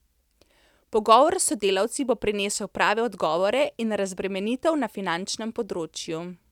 Pogovor s sodelavci bo prinesel prave odgovore in razbremenitev na finančnem področju.